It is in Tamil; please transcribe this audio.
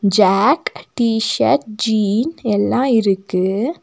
ஜாக் டி ஷர்ட் ஜீன் எல்லா இருக்கு.